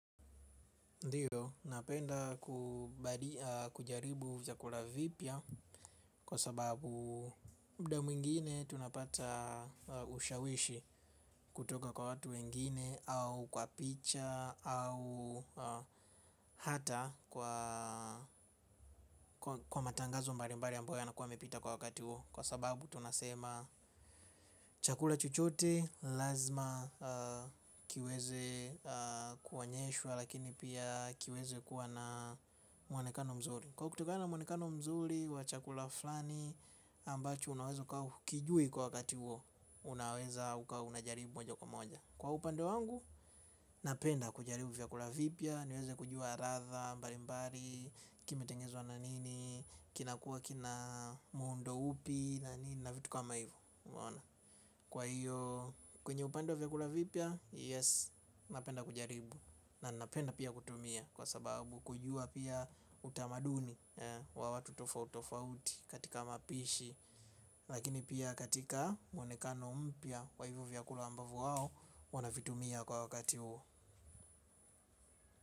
Ndiyo, napenda kujaribu zakula vipya kwa sababu mda mwingine tunapata ushawishi kutoka kwa watu wengine au kwa picha au hata kwa kwa matangazo mbarimbari ambayo yanakuwa yamepita kwa wakati huo. Kwa sababu tunasema chakula chochote lazima kiweze kuonyeshwa lakini pia kiweze kuwa na muonekano mzuri. Kwa kutoka na muonekano mzuri wa chakula flani ambacho unaweza ukawa hukujui kwa kati huo. Unaweza uka unajaribu moja kwa moja. Kwa upande wangu napenda kujaribu vyakula vipya niweze kujua radha mbalimbari. Kimetengenezwa na nini. Kinakuwa kina muundo upi. Na nini na vitu kama hivo unaona. Kwa hiyo kwenye upande wa vyakula vipya Yes napenda kujaribu. Na ninapenda pia kutumia kwa sababu kujua pia utamaduni wa watu tofautofauti katika mapishi. Lakini pia katika muonekano mpya kwa hivo vyakula ambavo wao wanavitumia kwa wakati huo.